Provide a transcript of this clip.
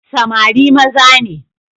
Samari maza ne.